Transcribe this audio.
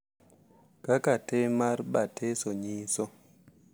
Kaka tim mar batiso nyiso ,